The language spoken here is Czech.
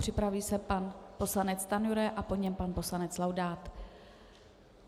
Připraví se pan poslanec Stanjura a po něm pan poslanec Laudát.